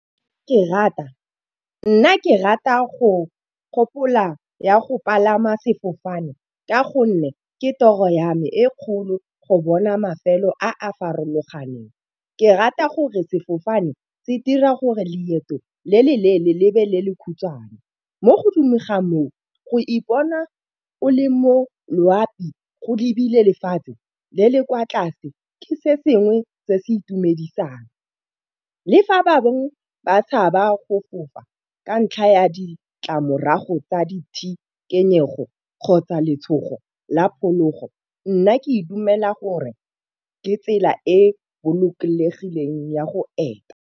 Ke rata, nna ke rata go gopola ya go palama sefofane ka gonne ke toro ya me e kgolo go bona mafelo a a farologaneng. Ke rata gore sefofane se dira gore leeto le le leele lebe le le khutshwane. Mo godimo ga moo go ipona o le mo loapi go lebile lefatshe le le kwa tlase ke se sengwe se se itumedisang. Le fa bangwe ba tshaba go fofa ka ntlha ya ditlamorago tsa ditshikinyego kgotsa letshogo la phologo nna ke dumela gore ke tsela e bolokegileng ya go eta.